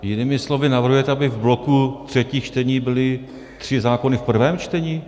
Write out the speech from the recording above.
Jinými slovy navrhujete, aby v bloku třetích čtení byly tři zákony v prvém čtení?